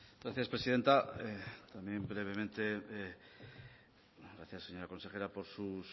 gracias presidenta también brevemente gracias señora consejera por